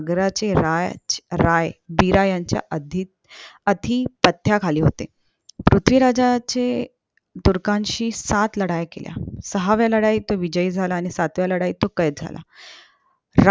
चे राज रायवीर यांच्या आधी अधिपत्य खाली होते पृथ्वीराजांचे तुर्कांशी सात लढाई केल्या साव्ह्या लढाईत तो विजयी झाला आणि सातव्या तो केत